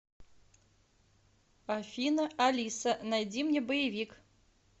афина алиса найди мне боевик